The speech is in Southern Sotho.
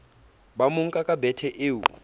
ba monka ka bethe eo